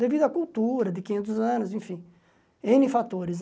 Devido à cultura, de quinhentos anos, enfim, êne fatores.